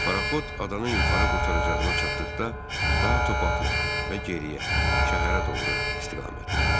Paraxot adanın yuxarı qurtaracağına çatdıqda daha top atmadı və geriyə, şəhərə doğru istiqamətləndi.